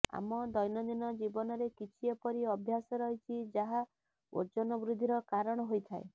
ଆମ ଦୈନନ୍ଦିନ ଜୀବନରେ କିଛି ଏପରି ଅଭ୍ୟାସ ରହିଛି ଯାହା ଓଜନ ବୃଦ୍ଧିର କାରଣ ହୋଇଥାଏ